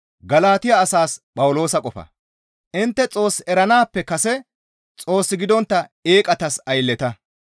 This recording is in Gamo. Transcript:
Intte Xoos eranaappe kase Xoos gidontta eeqatas aylleta.